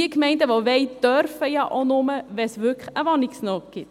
Die Gemeinden, welche wollen, dürfen ja auch nur, wenn es wirklich eine Wohnungsnot gibt.